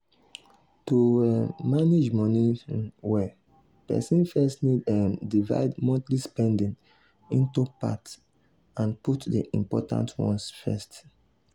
to um manage money um well person first need um divide monthly spending into parts and put the important ones first.